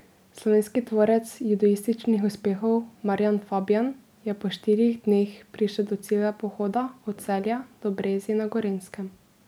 Slovenski tvorec judoističnih uspehov Marjan Fabjan je po štirih dneh prišel do cilja pohoda od Celja do Brezij na Gorenjskem.